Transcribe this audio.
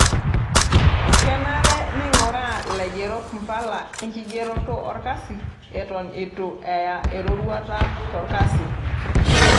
Kenare neing'uraa laigerok mpala enkigeroto olkasi eton eitu eya eroruata tolkasi.